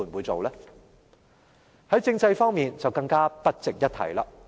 在政制方面就更不值一提。